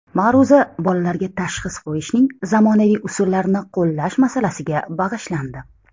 Ma’ruza bolalarga tashxis qo‘yishning zamonaviy usullarini qo‘llash masalasiga bag‘ishlandi.